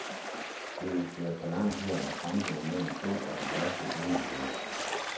Det vil føre for langt her at fremhæve mere end to af de værste urimeligheder.